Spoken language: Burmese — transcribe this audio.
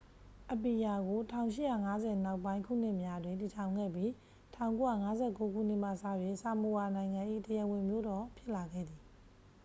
အပီယာကို 1850 နောက်ပိုင်းခုနှစ်များတွင် တည်ထောင်ခဲ့ပြီး 1959 ခုနှစ်မှစ၍ ဆာမိုအာနိုင်ငံ၏ တရားဝင်မြို့တော် ဖြစ်လာခဲ့သည်